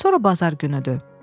Sonra bazar günüdür.